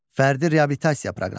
Fərdi reabilitasiya proqramı.